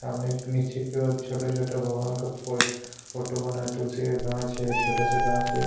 सामने नीचे की और छोटे- छोटे भगवान का फोटो बना है तुलसी का कांच है छोटा सा कांच है --